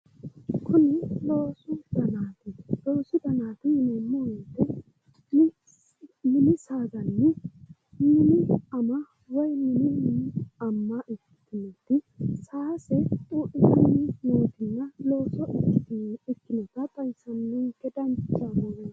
kuni loosu danaati loosu danaati yineemmo wote kuni mini saadanni mini ama woyi mini amma ikkitinoti saase xuudhitanni heedheennana looso ikkinota xawissannonke dancha misileeti.